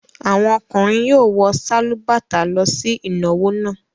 Àwọn ọkùnrin yóò wọ sálúbàtà lọ sí ìnáwó náà.